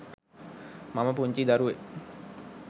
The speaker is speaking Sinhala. මම පුංචි දරුවෙක්.